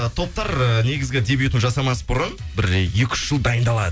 топтар негізгі дебютын жасамас бұрын бір екі үш жыл дайындалады